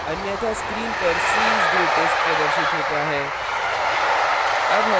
अन्यथा screen पर c is greatest प्रदर्शित होता है